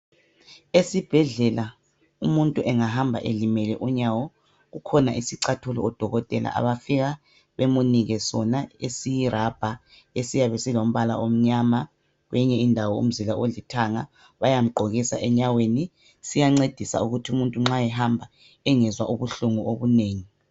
Esibhedlela, umuntu engahamba elimele unyawo, kukhona isicathulo odokotela abafika bemunike sona esiyirabha esiyabe silombala omnyama kwenye indawo umzila olithanga. Bayamgqokisa enyaweni. Siyancedisa ukuthi umuntu nxa ehamba engezwa ubuhlungu obunengi.